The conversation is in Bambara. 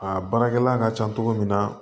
Aa baarakɛla ka ca cogo min na